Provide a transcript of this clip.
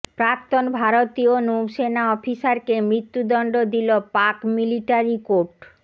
প্রাক্তন ভারতীয় নৌসেনা অফিসারকে মৃত্যুদণ্ড দিল পাক মিলিটারি কোর্ট